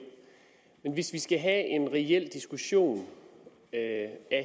men hvis vi skal have en reel diskussion af